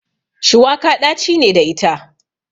Shuwaka ɗaci ne da ita.